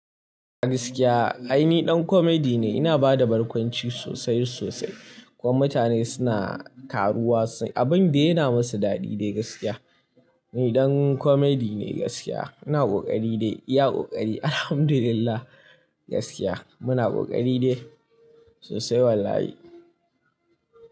Gaskiya ai ni ɗan comedy ne, ina bada barkwanci sosai sosai. Kuma mutane suna karuwa, abin da yana masu daɗi dai gaskiya. Ni ɗan comedy ne gaskiya. Ina ƙoƙari dai, iya ƙoƙari Alhamdulillah gaskiya. Muna ƙoƙari dai sosai wallahi.